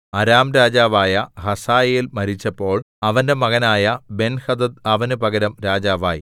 അരാം രാജാവായ ഹസായേൽ മരിച്ചപ്പോൾ അവന്റെ മകനായ ബെൻഹദദ് അവന് പകരം രാജാവായി